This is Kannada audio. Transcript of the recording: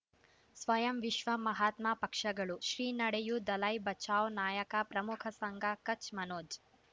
ಸ್ವಯಂ ವಿಶ್ವ ಮಹಾತ್ಮ ಪಕ್ಷಗಳು ಶ್ರೀ ನಡೆಯೂ ದಲೈ ಬಚೌ ನಾಯಕ ಪ್ರಮುಖ ಸಂಘ ಕಚ್ ಮನೋಜ್